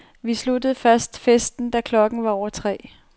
Vi sluttede først festen, da klokken var over tre.